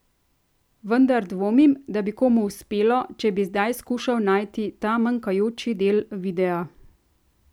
Vendar dvomim, da bi komu uspelo, če bi zdaj skušal najti ta manjkajoči del videa.